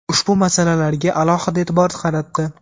ushbu masalalarga alohida e’tibor qaratdi.